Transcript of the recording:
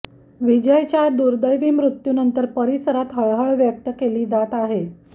विजयच्या दुर्दैवी मृत्यूनंतर परिसरात हळहळ व्यक्त केली जात आहे